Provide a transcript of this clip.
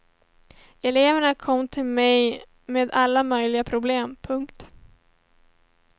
Eleverna kommer till mig med alla möjliga problem. punkt